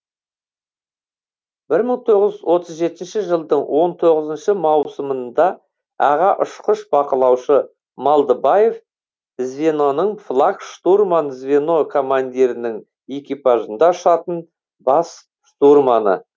бір мың тоғыз жүз отыз жетінші жылдың он тоғызыншы маусымында аға ұшқыш бақылаушы малдыбаев звеноның флаг штурман звено командирінің экипажында ұшатын бас штурманы